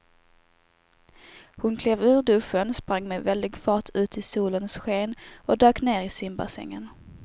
Hon klev ur duschen, sprang med väldig fart ut i solens sken och dök ner i simbassängen.